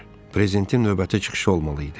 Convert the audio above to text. Prezidentin növbəti çıxışı olmalı idi.